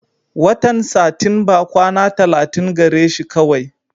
Watan Satinba kwana tallatin gare shi kawai.